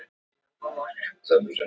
Er raunveruleikinn raunverulegur?